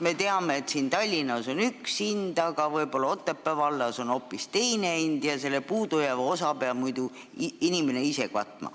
Me teame, et siin Tallinnas on üks hind, aga võib-olla Otepää vallas on hoopis teine hind ja selle puudujääva osa peab inimene ise katma.